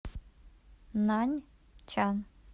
наньчан